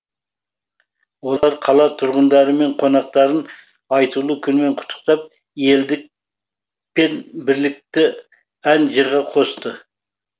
олар қала тұрғындары мен қонақтарын айтулы күнмен құттықтап елдік пен бірлікті ән жырға қосты